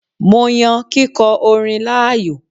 Mo yan kíkọ orin láàyò